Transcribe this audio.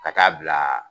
Ka taa bila